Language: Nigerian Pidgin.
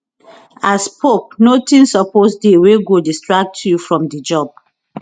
as pope notin suppose dey wey go distract you from di job